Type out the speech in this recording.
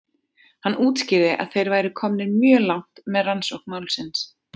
Hann útskýrði að þeir væru komnir mjög langt með rannsókn málsins.